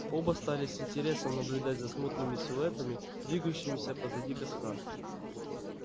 оба стали с интересом наблюдать за смутными силуэтами двигающимися позади костра